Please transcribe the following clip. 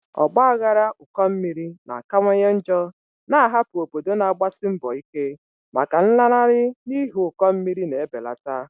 Ọgba aghara ụkọ mmiri na-akawanye njọ, na-ahapụ obodo na-agbasi mbọ ike maka nlanarị n'ihi ụkọ mmiri na-ebelata.